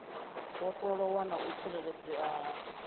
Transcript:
vhofholowa na u tsireledzea ha